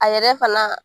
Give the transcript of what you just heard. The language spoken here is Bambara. A yɛrɛ fana